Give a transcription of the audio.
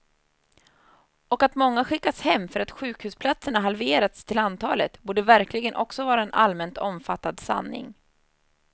Och att många skickas hem för att sjukhusplatserna halverats till antalet, borde verkligen också vara en allmänt omfattad sanning.